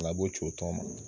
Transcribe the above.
O la a b'o ci o tɔn ma.